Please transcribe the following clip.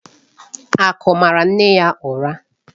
Aku maara nne ya ụra.